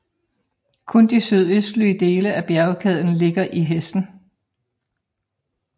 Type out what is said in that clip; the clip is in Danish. Kun de sydøstlige dele af bjergkæden ligger i Hessen